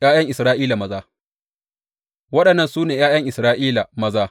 ’Ya’yan Isra’ila maza Waɗannan su ne ’ya’yan Isra’ila maza.